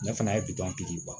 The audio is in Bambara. Ne fana ye bitɔn di ban